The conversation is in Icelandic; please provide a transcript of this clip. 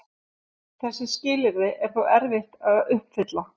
Þessi skilyrði er þó erfitt að uppfylla.